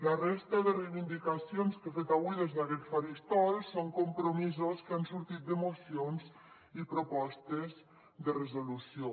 la resta de reivindicacions que he fet avui des d’aquest faristol són compromisos que han sortit de mocions i propostes de resolució